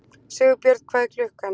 Sigbjörn, hvað er klukkan?